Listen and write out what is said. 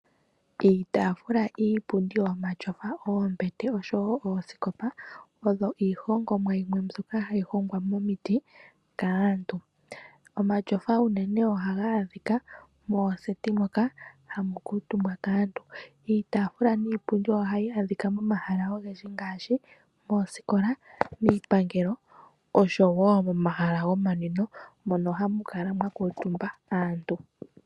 Iitaafula, iipundi yomatyofa, oombete oshowo oosikopa odho iihongomwa yimwe mbyoka hayi hongwa momiti kaantu. Omatyofa unene ohaga adhika mooseti moka hamu kuutumbwa kaantu. Iitaafula niipundi ohayi adhika momahala ogendji ngaashi moosikola, miipangelo osho wo momahala gomanwino mono hamu kala mwa kuutumba aantu.